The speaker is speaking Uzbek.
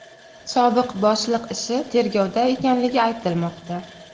Sobiq boshliq ishi tergovda ekanligi aytilmoqda.